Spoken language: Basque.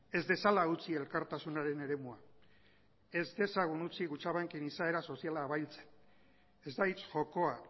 ez dezala utzi elkartasunaren eremua ez dezagun utzi kutxabanken izaera soziala abailtzen ez da hitz jokoa